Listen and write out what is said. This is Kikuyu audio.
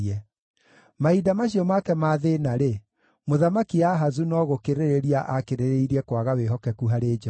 Mahinda macio make ma thĩĩna-rĩ, Mũthamaki Ahazu no gũkĩrĩrĩria aakĩrĩrĩirie kwaga wĩhokeku harĩ Jehova.